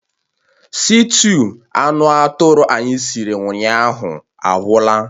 Sịtịụ anụ atụrụ anyị siri ụnyaahụ agwụla